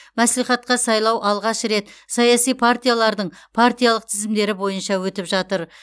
мәслихатқа сайлау алғаш рет саяси партиялардың партиялық тізімдері бойынша өтіп жатыр